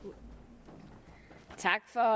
er